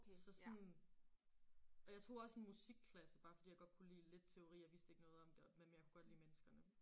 Så sådan og jeg tog også en musikklasse bare fordi jeg godt kunne lide lidt teori og vidste ikke noget om det men jeg kunne godt lide menneskene